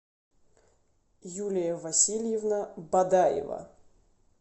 юлия васильевна бадаева